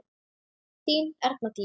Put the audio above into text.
Þín Erna Dís.